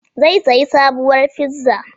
Zai sayi sabuwar fizza